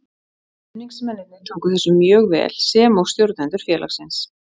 Stuðningsmennirnir tóku þessu mjög vel sem og stjórnendur félagsins.